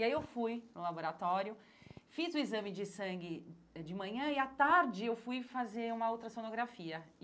E aí eu fui no laboratório, fiz o exame de sangue eh de manhã e à tarde eu fui fazer uma ultrassonografia.